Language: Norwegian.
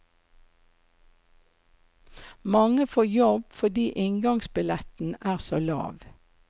Mange får jobb fordi inngangsbilletten er så lav.